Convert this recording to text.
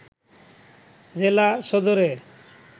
জেলা সদরের